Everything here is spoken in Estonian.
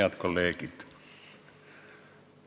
Head kolleegid!